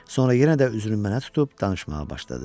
Sonra yenə də üzünü mənə tutub danışmağa başladı.